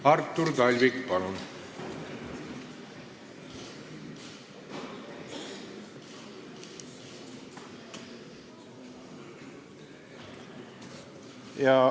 Artur Talvik, palun!